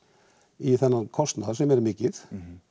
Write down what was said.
í þennan kostnað sem er mikið